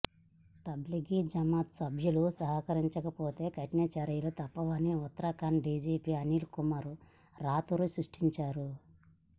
తబ్లిగీ జమాత్ సభ్యులు సహకరించకపోతే కఠిన చర్యలు తప్పవని ఉత్తరాఖండ్ డీజీపీ అనిల్కుమార్ రాతూరీ స్పష్టం చేశారు